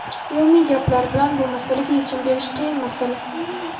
Umumiy gaplar bilan bu masalaga yechim berish qiyin masala.